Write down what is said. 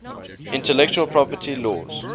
intellectual property laws